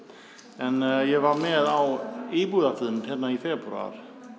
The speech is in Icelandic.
en ég var með á íbúafundinum hér í febrúar